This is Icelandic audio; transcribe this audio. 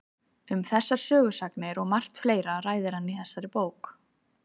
Um þessar sögusagnir og margt fleira ræðir hann í þessari bók.